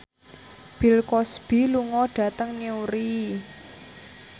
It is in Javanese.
Bill Cosby lunga dhateng Newry